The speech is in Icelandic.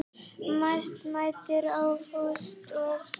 Mest mæddi á Fúsa og